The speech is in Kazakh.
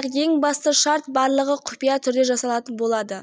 әкімдік еш көмек көрсете алмай отыр